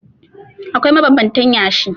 Akwai mabanbantan yashi.